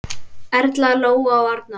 Erla, Lóa og Arnar.